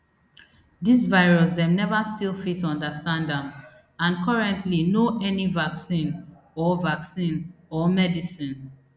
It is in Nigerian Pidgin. dis virus dem never fit still understand am and currently no any vaccine or vaccine or medicine